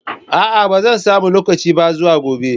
A'a ba zan samu lokaci ba zuwa gobe.